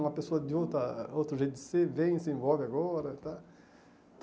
Uma pessoa de outra outro jeito de ser vem e se envolve agora, tá?